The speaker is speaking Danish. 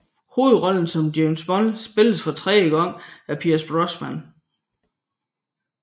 Hovedrollen som James Bond spilles for tredje gang af Pierce Brosnan